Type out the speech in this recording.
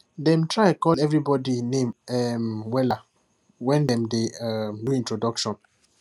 dem try call everybody name um wella when dem dey um do introduction